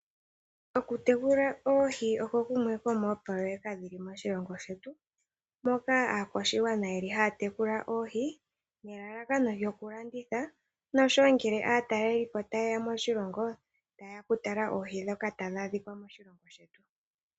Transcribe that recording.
Oku tekula oohi oko kumwe komoopoloyeka dhili moshilongo shetu moka aakwashigwana yeli haya tekula oohi nelalakano lyoku landitha noshowo ngele aataleli po ta yeya moshilongo ta yeya oku tala oohi ndhoka tadhi adhika moshilongo shetu.